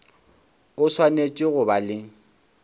o swanetše go ba le